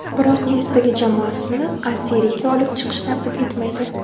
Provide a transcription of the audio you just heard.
Biroq Nestaga jamoasini A Seriyaga olib chiqish nasib etmaydi.